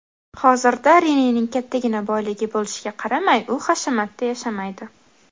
Hozirda Renening kattagina boyligi bo‘lishiga qaramay, u hashamatda yashamaydi.